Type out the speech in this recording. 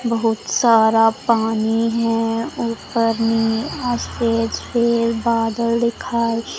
बहुत सारा पानी है ऊपर में स्टेज पे बादल दिखा--